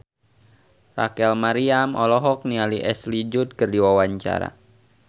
Rachel Maryam olohok ningali Ashley Judd keur diwawancara